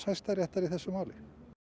Hæstaréttar í þessu máli